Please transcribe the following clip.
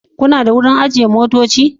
Kuna da wurin ajiye motoci?